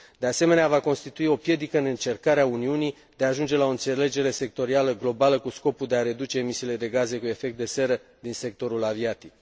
De asemenea, va constitui o piedică în încercarea Uniunii de a ajunge la o înțelegere sectorială globală cu scopul de a reduce emisiile de gaze cu efect de seră din sectorul aviatic.